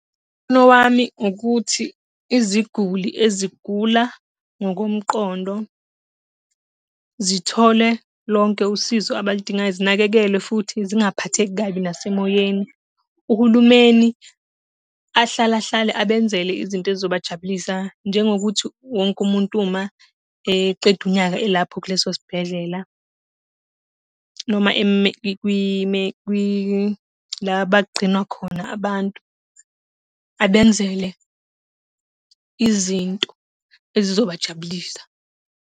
wami ukuthi iziguli ezigula ngokomqondo, zithole lonke usizo abaludingayo, zinakekelwe futhi zingaphatheki kabi nasemoyeni. Uhulumeni ahlale ahlale abenzele izinto ezizobajabulisa, njengokuthi wonke umuntu uma eqeda unyaka elapho kuleso sibhedlela noma la abagqinwa khona abantu, abenzele izinto ezizobajabulisa.